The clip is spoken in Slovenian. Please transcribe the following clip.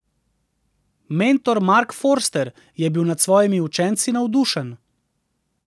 Mentor Mark Forster je bil nad svojimi učenci navdušen.